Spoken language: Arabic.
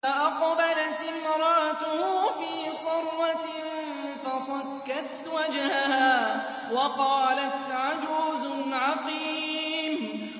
فَأَقْبَلَتِ امْرَأَتُهُ فِي صَرَّةٍ فَصَكَّتْ وَجْهَهَا وَقَالَتْ عَجُوزٌ عَقِيمٌ